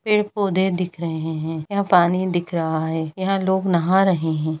पेड़-पौधे दिख रहे है यहाँ पानी दिख रहा है यहाँ लोग नाहा रहे है।